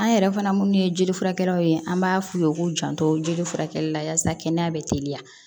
An yɛrɛ fana minnu ye jeli furakɛkɛlaw ye an b'a f'u ye u k'u janto jeli furakɛ la yaasa kɛnɛya bɛ teliya